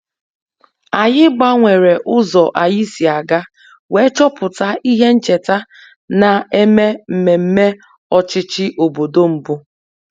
Anyị gbanwere ụzọ anyị si aga wee chọpụta ihe ncheta na-eme mmemme ọchịchị obodo mbụ